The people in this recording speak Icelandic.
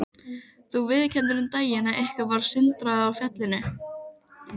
Þú viðurkenndir um daginn að ykkur varð sundurorða á fjallinu.